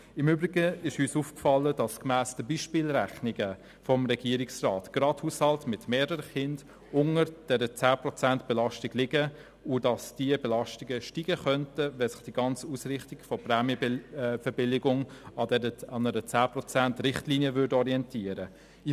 Im Übrigen ist uns aufgefallen, dass gemäss den Beispielrechnungen der Regierung gerade Haushalte mit mehreren Kindern unter der 10-Prozent-Belastung liegen und dass diese Belastung steigen könnte, wenn sich die ganze Ausrichtung der Prämienverbilligung an einer 10-Prozent-Richtlinie orientieren würde.